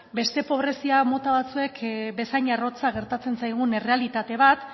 beste pobrezia mota batzuek bezain arrotza gertatzen zaigun errealitate bat